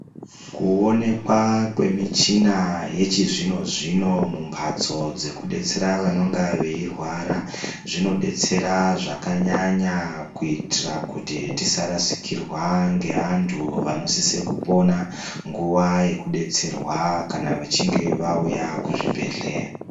Kuonekwa kwemichina yechizvinozvino mumbatso dzekudetsera vanonga veirwara, zvinodetsera zvakanyanya kuitira kuti tisarasikirwa ngevantu vanosisa kupona nguva yekudetserwa kana vachinge vauya kuzvibhehleya.